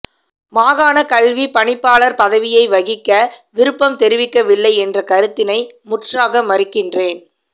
மாகாணக் கல்விப் பணிப்பாளர் பதவியை வகிக்க விருப்பம் தெரிவிக்கவில்லை என்ற கருத்தினை முற்றாக மறுக்கின்றேன்